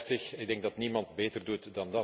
2030. Ik denk dat niemand het beter doet.